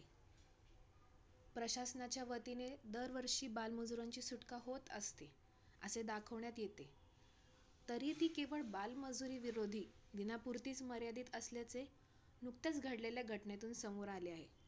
प्रशासनाच्या वतीने दरवर्षी बालमजुरांची सुटका होत असते, असे दाखवण्यात येते तरीही ती केवळ बालमजुरी विरोधी दिनापूर्तीच मर्यादित असल्याचे नुकत्याच घडलेल्या घटनेतून समोर आले आहे.